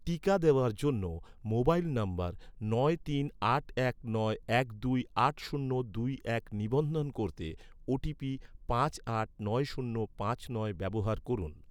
টিকা দেওয়ার জন্য, মোবাইল নম্বর নয় তিন আট এক নয় এক দুই আট শূন্য দুই এক নিবন্ধন করতে, ওটিপি পাঁচ আট নয় শূন্য পাঁচ নয় ব্যবহার করুন